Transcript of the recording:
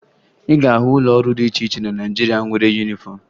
Ị ga-ahụ ụlọ ọrụ dị iche iche na Naịjirịa nwere yunifọmụ